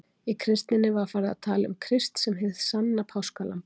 Í kristninni var farið að tala um Krist sem hið sanna páskalamb.